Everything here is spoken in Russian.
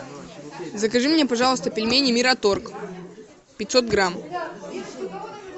закажи мне пожалуйста пельмени мираторг пятьсот грамм